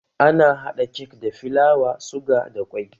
Ana hada kek da filawa, suga da ƙwai